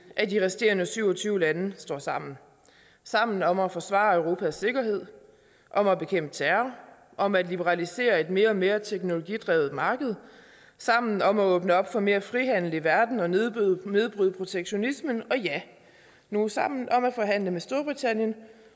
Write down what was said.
at de resterende syv og tyve lande står sammen sammen om at forsvare europas sikkerhed om at bekæmpe terror om at liberalisere et mere og mere teknologidrevet marked sammen om at åbne op for mere frihandel i verden og nedbryde nedbryde protektionisme og ja nu sammen om at forhandle med storbritannien